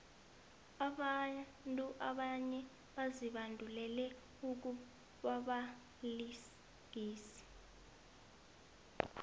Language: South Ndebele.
abantu abanye bazibandulele ukubabalingisi